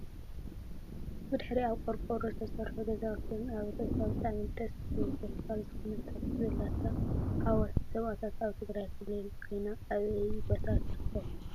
ብድሕርይኣ ካብ ቆርቆሮ ዝተሰርሑ ገዛውትን ኣብ ርእሳ ብጣዕሚ ደስ ትብል ዘፋር ዝኮነት ተክሊ ዘለታ ሓወልቲ ሰማእታታት ኣብ ትግራይ ክልል ኮይና ኣበይ ቦታ ትርከብ?